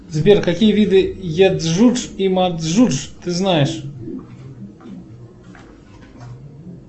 сбер какие виды еджудж и маджудж ты знаешь